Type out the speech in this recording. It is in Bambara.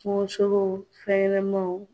Kungo sogow fɛn ɲanamanw